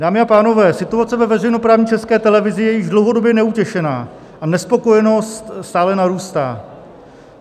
Dámy a pánové, situace ve veřejnoprávní České televize je již dlouhodobě neutěšená a nespokojenost stále narůstá.